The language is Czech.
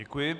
Děkuji.